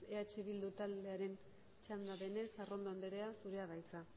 eh bildu taldearen txanda denez arrondo andrea zurea da hitza